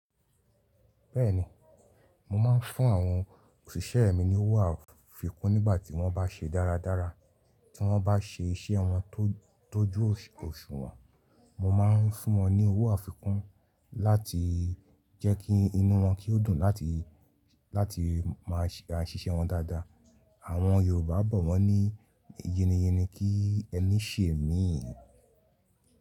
Bẹ́ẹ̀ni, mo máa ń fún àwọn òṣìṣẹ́ mi ní owó àfikún nígbà tí wọ́n bá ṣe dáradára. Tí wọ́n bá ṣe iṣẹ́ wọn tó jó òṣùwọ̀n, mo máa ń fún wọn ní owó àfikún láti jẹ́ kí inú wọn kí ó dùn láti, láti máa ṣe àṣìṣe wọn dáadáa. Àwọn Yorùbá bọ̀ wọ́n ní “yé ni yé ni kí ẹní ṣe míì.”